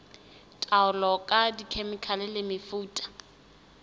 taolo ka dikhemikhale le mefuta